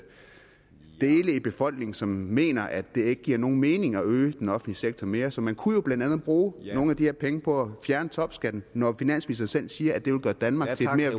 befolkningen som mener at det ikke giver nogen mening at øge den offentlige sektor mere så man kunne jo blandt andet bruge nogle af de her penge på at fjerne topskatten når finansministeren selv siger at det vil gøre danmark